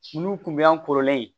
Munnu kun bɛ yan kɔrɔlen